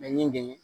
Mɛ n ye n dege